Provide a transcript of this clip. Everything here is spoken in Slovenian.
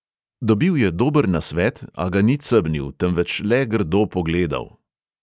Dobil je dober nasvet, a ga ni cebnil, temveč le grdo pogledal.